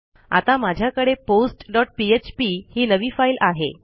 आता माझ्याकडे postपीएचपी ही नवी फाईल आहे